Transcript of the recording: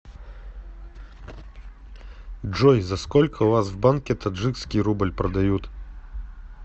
джой за сколько у вас в банке таджикский рубль продают